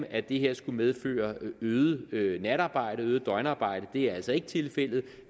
at det her skulle medføre øget øget natarbejde og øget døgnarbejde det er altså ikke tilfældet